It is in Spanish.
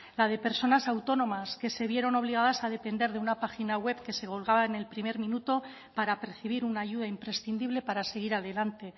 la de personas autónomas que se vieron obligadas a depender de una página web que se colgaba en el primer minuto para percibir una ayuda imprescindible para seguir adelante